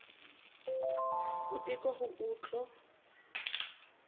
ho teko ho o tl